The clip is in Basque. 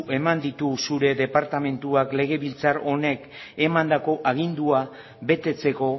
eman ditu zure departamentuak legebiltzar honek emandako agindua betetzeko